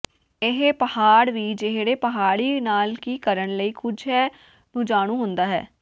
ਇਹ ਪਹਾੜ ਵੀ ਜਿਹੜੇ ਪਹਾੜੀ ਨਾਲ ਕੀ ਕਰਨ ਲਈ ਕੁਝ ਹੈ ਨੂੰ ਜਾਣੂ ਹੁੰਦਾ ਹੈ